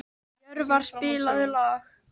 Jörvar, spilaðu lag.